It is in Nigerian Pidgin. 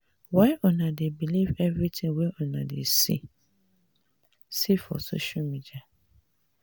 why una dey believe everytin wey una see for see for social media.